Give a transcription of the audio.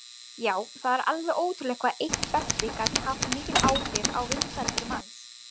Já, það var alveg ótrúlegt hvað eitt belti gat haft mikil áhrif á vinsældir manns.